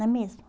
Não é mesmo?